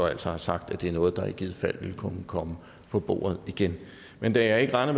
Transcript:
altså har sagt at det er noget der i givet fald vil kunne komme på bordet igen men da jeg ikke regner